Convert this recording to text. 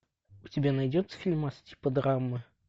у тебя найдется фильмас типа драмы